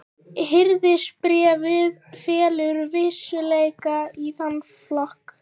Hirðisbréfið fellur vissulega í þann flokk.